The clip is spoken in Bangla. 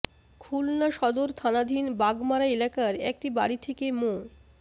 খুলনা সদর থানাধীন বাগমারা এলাকার একটি বাড়ি থেকে মো